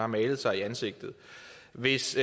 malet sig i ansigtet hvis